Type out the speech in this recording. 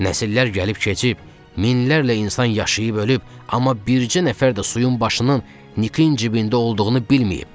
Nəsillər gəlib keçib, minlərlə insan yaşayıb ölüb, amma bircə nəfər də suyun başının Nikin cibində olduğunu bilməyib.